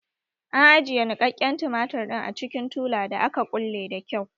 An ajiye niƙaƙƙen tumatir ɗin a cikin tula da aka kulle da kyau